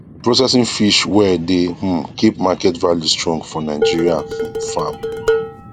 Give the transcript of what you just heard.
processing fish well dey um keep market value strong for nigeria um farm